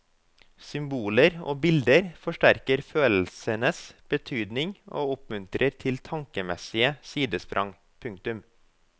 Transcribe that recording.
Symboler og bilder forsterker følelsenes betydning og oppmuntrer til tankemessige sidesprang. punktum